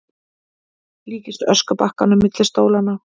Líkist öskubakkanum milli stólanna.